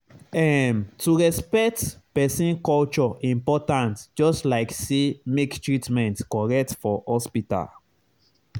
ehm to respect person culture important just like say make treatment correct for hospital.